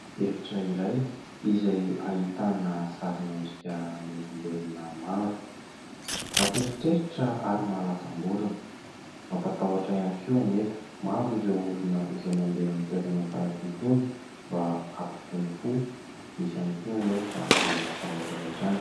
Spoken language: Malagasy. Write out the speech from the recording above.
Efitra iray izay ahitana sarin'ny endrika olombelona maro. Mampiheritreritra ary mahalasamborona, mampatahotra ihany koa anefa maro ireo olona izay mandeha amin'ny toerana tahaka itony mba hampitony fo ; misy ihany koa anefa ireo matahotra avy hatrany.